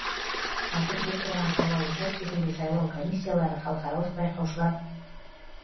қазір біз тұрған сайлау учаскесінде сайлау комиссиялары халықаралық байқаушылар